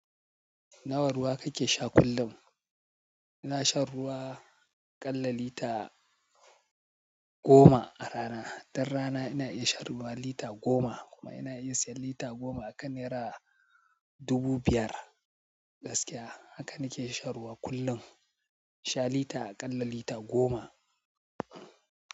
Nawa ruwa kake sha kullum? Ina shan ruwa aƙalla lita goma a rana. Don rana ina iya shan ruwa lita goma kuma ina iya siyan lita goma a naira dubu biyar gaskiya. Haka nake shan ruwa kullum. Sha lita aƙalla lita goma.